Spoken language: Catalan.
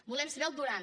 volem saber el durant